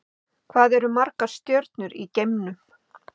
Hvað eru margar stjörnur í geimnum?